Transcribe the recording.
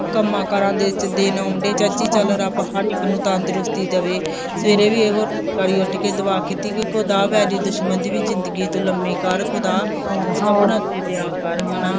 ਕੰਮਾਂ ਕਾਰਾਂ ਦੇ ਦਿਨ ਆਉਣ ਡੇ, ਚਾਚੀ ਚੱਲ ਰੱਬ ਹਰ ਇੱਕ ਨੂੰ ਤੰਦਰੁਸਤੀ ਦੇਵੇ, ਸਵੇਰੇ ਵੀ ਇਹੋ ਉੱਠ ਕੇ ਦੂਆ ਕੀਤੀ ਬਈ ਖੁਦਾ ਵੈਰੀ ਦੁਸ਼ਮਣ ਦੀ ਵੀ ਜ਼ਿੰਦਗੀ ਲੰਮੀ ਕਰ, ਖੁਦਾ ਦਿਆ ਕਰ ਹਨਾ